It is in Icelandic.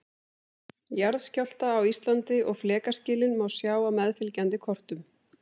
Jarðskjálfta á Íslandi og flekaskilin má sjá á meðfylgjandi kortum.